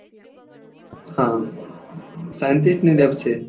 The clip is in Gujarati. હા scientist ની લેબ છે